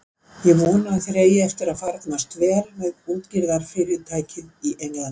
Ég vona að þér eigi eftir að farnast vel með útgerðarfyrirtækið í Englandi.